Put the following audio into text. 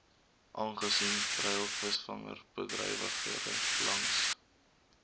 aangesien treilvisvangbedrywighede langs